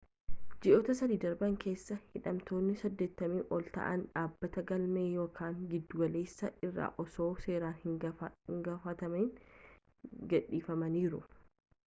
ji'oota 3 darban keessa hidhamtootni 80 ol ta'an dhaabbata galmee yakkaa giddugaleessaa irraa osoo seeraan hin gaafatamin gadhifamaniiru